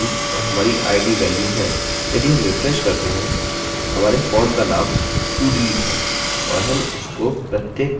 यदि हम रिफ्रेश करते हैं हमारे फॉर्म का नाम todelete है और हम इसको प्रत्येक वेल्यू हेतु ले रहे हैं